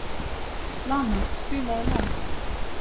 Lana, spilaðu lag.